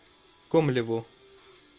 комлеву